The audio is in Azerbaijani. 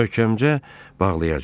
Möhkəmcə bağlayacam.